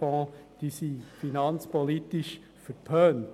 Sie sind finanzpolitisch verpönt.